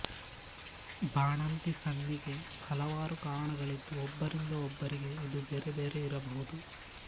ಬಾಣಂತಿ ಸನ್ನಿಗೆ ಹಲವಾರು ಕಾರಣಗಳಿದ್ದು ಒಬ್ಬರಿಂದ ಒಬ್ಬರಿಗೆ ಇದು ಬೇರೆ ಬೇರೆ ಇರಬಹುದು